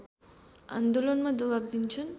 आन्दोलनमा दबाव दिन्छन्